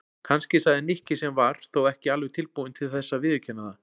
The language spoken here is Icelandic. Kannski sagði Nikki sem var þó ekki alveg tilbúinn til þess að viðurkenna það.